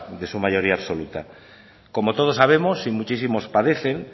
de su mayoría absoluta como todos sabemos y muchísimos padeces